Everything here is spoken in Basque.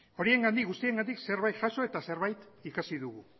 horiengandik guztiengandik zerbait jaso eta zerbait ikasi dugu